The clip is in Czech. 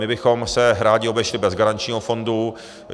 My bychom se rádi obešli bez garančního fondu.